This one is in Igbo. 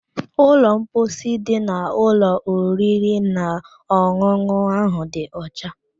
Ụlọ mposi dị n'ụlọ oriri na ọn̄ụn̄ụ ahụ dị ọcha